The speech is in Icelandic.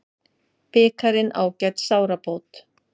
Bikarinn ágæt sárabót